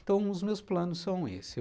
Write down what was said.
Então, os meus planos são esses.